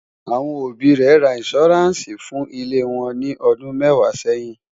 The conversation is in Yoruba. àwọn òbí ré rà insuranci fún ilé wón ní ọdún mẹwàá sẹyìn